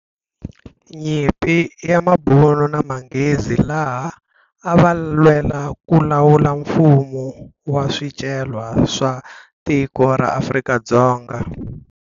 Nyimpi ya mabunu na manghezi laha a va lwela ku lawula mfuwo wa swicelwa swa tiko ra Afrika-Dzonga.